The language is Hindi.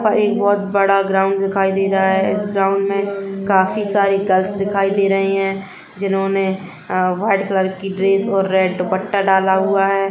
वह एक बहुत बडा ग्राउंड दिखाई दे जा है इस ग्राउंड में काफी सारी गर्ल्स दिखाई दे रही है जिन्होंने अ व्हाइट कलर की ड्रेस और रेड दुपट्टा डाला हुआ है।